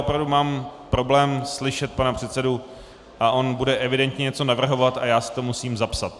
Opravdu mám problém slyšet pana předsedu a on bude evidentně něco navrhovat a já si to musím zapsat.